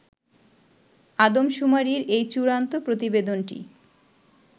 আদমশুমারির এই চুড়ান্ত প্রতিবেদনটি